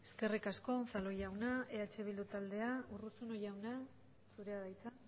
eskerrik asko unzalu jauna eh bildu taldea urruzuno jauna zurea da hitza